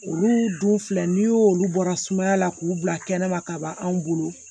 Olu dun filɛ n'i y' olu bɔra sumaya la k'u bila kɛnɛ ma ka ban anw bolo